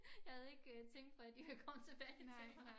Jeg havde ikke tænkt på at de ville komme tilbage til mig